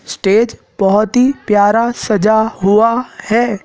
Stage बहुत ही प्यारा सजा हुआ है।